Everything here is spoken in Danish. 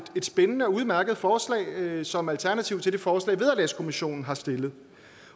et spændende og udmærket forslag som alternativ til det forslag vederlagskommissionen har stillet